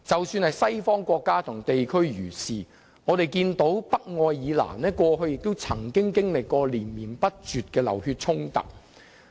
西方國家和地區亦然，我們看到北愛爾蘭過去曾經歷連綿不絕的流血衝突。